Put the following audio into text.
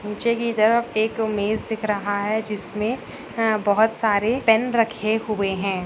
नीचे की तरफ एक मेज दिख रहा है जिसमें बहुत सारे पेन रखे हुए हैं।